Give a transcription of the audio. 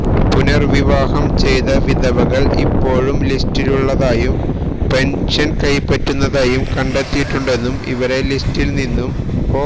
പുനര്വിവാഹം ചെയ്ത വിധവകള് ഇപ്പോഴും ലിസ്റ്റിലുള്ളതായും പെന്ഷന് കൈപ്പറ്റുന്നതായും കണ്ടെത്തിയിട്ടുണ്ടെന്നും ഇവരെ ലിസ്റ്റില് നിന്നും ഒ